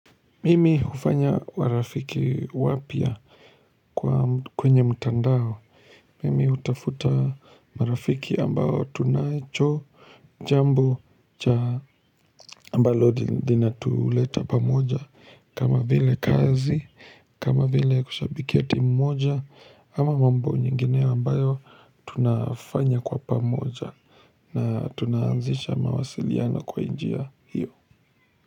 Mimi hufanya warafiki wapya kwenye mtandao Mimi utafuta marafiki ambao tunacho jambo cha ambalo lina tuleta pamoja kama vile kazi kama vile kushabikia timu moja ama mambo nyingine ambayo tunafanya kwa pamoja na tunaanzisha mawasiliano kwa njia hiyo.